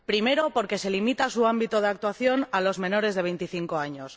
Primero, porque se limita su ámbito de actuación a los menores de 25 años